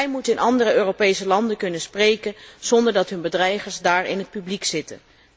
Zij moeten in andere Europese landen kunnen spreken zonder dat hun bedreigers daar in het publiek zitten.